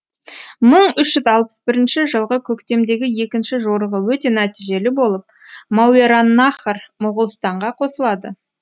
мың үш жүз алпыс бірінші жылғы көктемдегі екінші жорығы өте нәтижелі болып мауераннахр моғолстанға қосылады